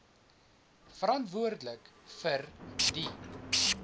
verantwoordelik vir die